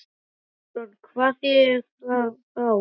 Sighvatur Jónsson: Hvað þýðir það þá?